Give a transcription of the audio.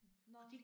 Nåh